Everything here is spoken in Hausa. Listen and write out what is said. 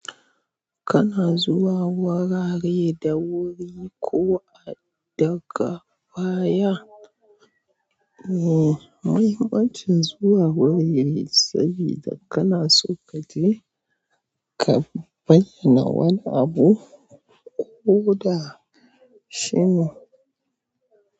Kana zuwa wurare da wuri ko daga baya e, mahimmanci zuwa wurin saboda kana so ka je ka bayyana wani abu ko da shi ne.